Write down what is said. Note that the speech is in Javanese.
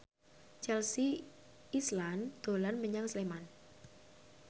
Chelsea Islan dolan menyang Sleman